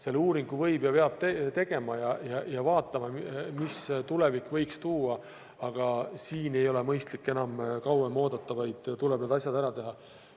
Selle uuringu võib teha ja seda peab tegema, ja vaatame, mida tulevik võiks tuua, aga siin ei ole mõistlik enam kauem oodata, vaid tuleb need asjad ära teha.